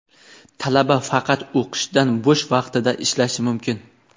talaba faqat o‘qishdan bo‘sh vaqtida ishlashi mumkin.